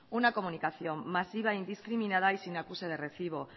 una comunicación masiva e indiscriminada y sin acuse de recibo